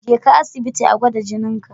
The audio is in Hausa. Je ka asibiti a gwada jininka.